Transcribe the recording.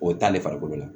O t'ale farikolo la